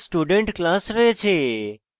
এরপর student class রয়েছে